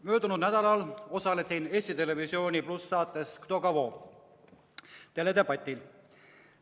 Möödunud nädalal osalesin ETV+ saates "Kto kogo?" teledebatil.